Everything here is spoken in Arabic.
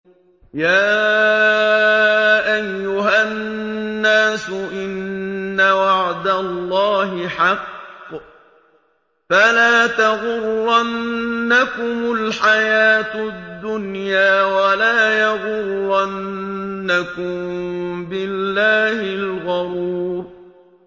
يَا أَيُّهَا النَّاسُ إِنَّ وَعْدَ اللَّهِ حَقٌّ ۖ فَلَا تَغُرَّنَّكُمُ الْحَيَاةُ الدُّنْيَا ۖ وَلَا يَغُرَّنَّكُم بِاللَّهِ الْغَرُورُ